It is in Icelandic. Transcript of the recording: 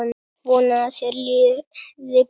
Vona að þér líði betur.